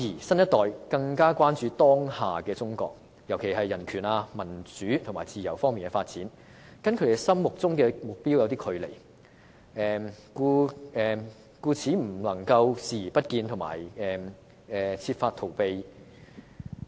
新一代更關注的是，當下的中國在人權、民主和自由方面的發展，與他們心中的目標有一段距離，而他們對此故作視而不見或設法逃避。